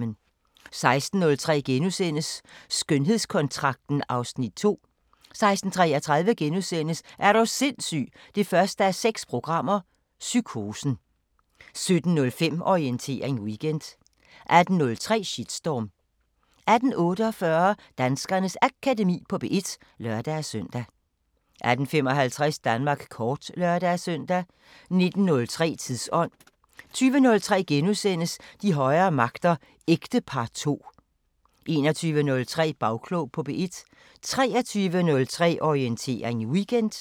16:03: Skønhedskontrakten (Afs. 2)* 16:33: Er du sindssyg 1:6 – Psykosen * 17:05: Orientering Weekend 18:03: Shitstorm 18:48: Danskernes Akademi på P1 (lør-søn) 18:55: Danmark kort (lør-søn) 19:03: Tidsånd 20:03: De højere magter: Ægtepar II * 21:03: Bagklog på P1 23:03: Orientering Weekend